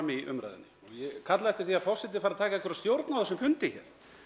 í umræðunni og ég kalla eftir því að forseti fari að taka einhverja stjórn á þessum fundi hér